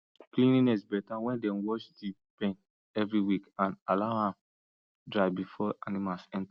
cleanliness better when dem wash the pen every week and allow am dry before animals enter